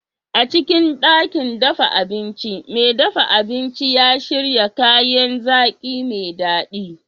A cikin ɗakin dafa abincin, mai dafa abinci ya shirya kayan zaki mai daɗi.